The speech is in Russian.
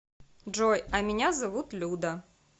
джой а меня зовут люда